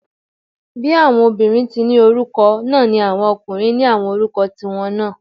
Bí àwọn obìnrin tí ni orúkọ náà ni àwọn ọkùnrin ní àwọn orúkọ tí wọn náà